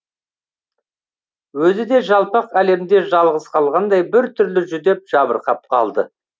өзі де жалпақ әлемде жалғыз қалғандай бір түрлі жүдеп жабырқап қалды